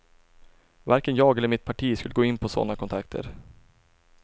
Varken jag eller mitt parti skulle gå in på såna kontakter.